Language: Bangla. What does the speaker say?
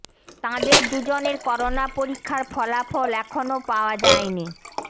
তাঁদের দুজনের করোনা পরীক্ষার ফলাফল এখনো পাওয়া যায়নি